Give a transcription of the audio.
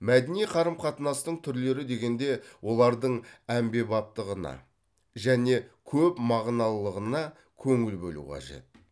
мәдени қарым қатынастың түрлері дегенде олардың әмбебаптығына және көпмағыналылығына көңіл бөлу қажет